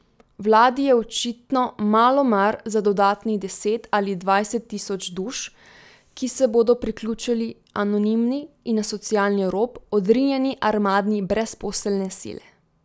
Vladi je očitno malo mar za dodatnih deset ali dvajset tisoč duš, ki se bodo priključili anonimni in na socialni rob odrinjeni armadi brezposelne sile.